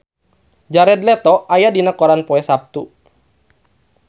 Jared Leto aya dina koran poe Saptu